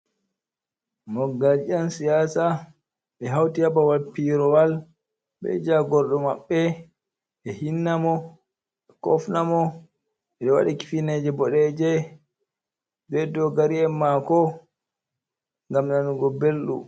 Mogal je nyan siyasa, ɓe hauti hababal piyrowal, ɓe jagordo mabbe, ɓe hinna mo ɓe kofna mo. Ɓewadi kifineje bodeje be dogari en mako gam nanugo beldu.